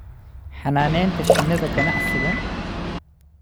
Xanaanaynta shinnida ganacsiga